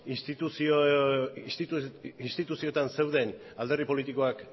instituzioetan zeuden alderdi politikoak